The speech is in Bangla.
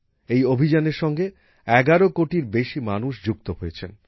এই অভিযানের সঙ্গে ১১ কোটির বেশি মানুষ যুক্ত হয়েছেন